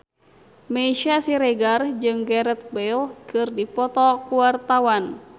Meisya Siregar jeung Gareth Bale keur dipoto ku wartawan